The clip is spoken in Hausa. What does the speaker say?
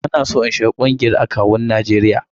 Ba na son in shiga ƙungiyar akawun Najeriya.